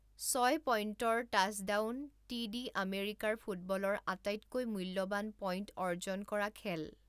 ছয় পইণ্টৰ টাচডাউন টি ডি আমেৰিকাৰ ফুটবলৰ আটাইতকৈ মূল্যৱান পইণ্ট অৰ্জন কৰা খেল।